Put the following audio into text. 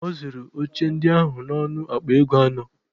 A zụrụ oche ndị ahụ n'ọnụ akpa ego anọ